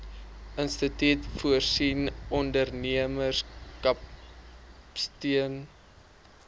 instituut voorsien ondernemerskapsteun